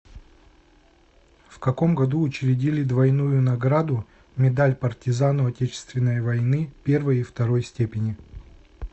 в каком году учредили двойную награду медаль партизану отечественной войны первой и второй степени